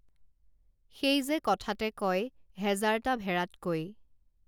সেই যে কথাতে কয় হেজাৰটা ভেড়াতকৈ